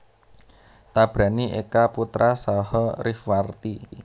Tabrani Eka Putra saha Rifwarti